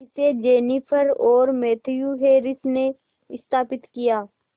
इसे जेनिफर और Matthew Harris ने स्थापित किया